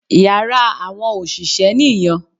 Yàrá àwọn òṣìṣẹ́ nì yan